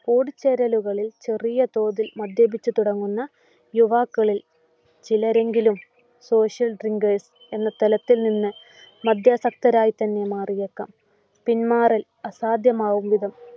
കൂടിച്ചേരലുകളിൽ ചെറിയ തോതിൽ മദ്യപിച്ചു തുടങ്ങുന്ന യുവാക്കളിൽ ചിലരെങ്കിലും social drinkers എന്ന തലത്തിൽ നിന്നു മദ്യാസക്തരായിത്തന്നെ മാറിയേക്കാം. പിന്മാറൽ അസാധ്യമാകും വിധം.